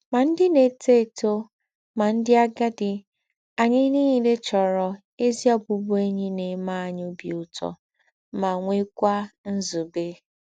Má ndị̀ na-étò étò, má ndị̀ àgádì, ányị̀ niilè chọ́rọ̀ ézí ọ̀bụ̀bụ̀én̄yi na-eme ányị̀ óbì ūtọ́ ma nwèkwà nzúbé.